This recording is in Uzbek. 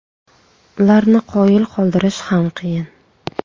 Ularni qoyil qoldirish ham qiyin.